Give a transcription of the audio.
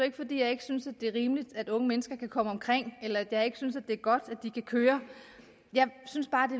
ikke fordi jeg ikke synes det er rimeligt at unge mennesker kan komme omkring eller fordi jeg ikke synes det er godt at de kan køre jeg synes bare det